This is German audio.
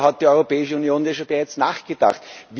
Darüber hat die Europäische Union ja bereits nachgedacht.